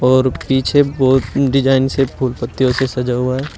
और पीछे बहोत डिजाइन से फूल पत्तियों से सजा हुआ है।